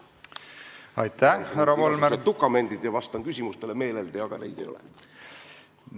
Ma mõtlesin, et võtan dokumendid ette ja vastan meeleldi küsimustele, aga neid ei ole.